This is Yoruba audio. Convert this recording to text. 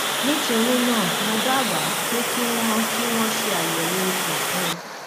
nítorí náà mo dábàá pé kí wọn kí wọn ṣe àyẹwò ikùn fún un